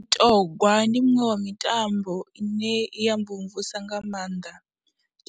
Mutogwa ndi muṅwe wa mitambo ine i ya mvumvusa nga maanḓa